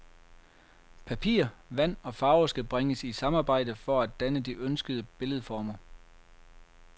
Papir, vand og farve skal bringes i samarbejde for at danne de ønskede billedformer.